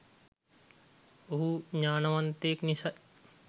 ඔහු ඥානවන්තයෙක් නිසයි.